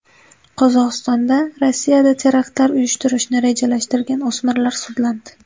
Qozog‘istonda Rossiyada teraktlar uyushtirishni rejalashtirgan o‘smirlar sudlandi.